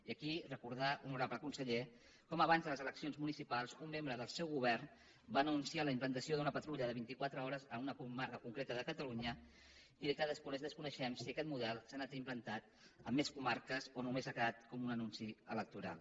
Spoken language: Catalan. i aquí recordar honorable conseller com abans de les eleccions municipals un membre del seu govern va anunciar la implantació d’una patrulla de vinti quatre hores en una comarca concreta de catalunya i que després desconeixem si aquest model s’ha anat implantant a més comarques o només ha quedat com un anunci electoral